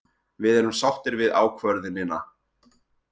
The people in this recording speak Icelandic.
Við erum sáttir við ákvörðunina.